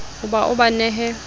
ho ba o ba nehe